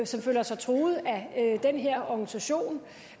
som føler sig truet af den her organisation